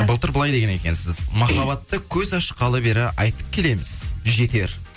былтыр былай деген екенсіз махаббатты көз ашқалы бері айтып келеміз жетер